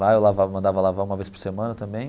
Lá eu lavava mandava lavar uma vez por semana também.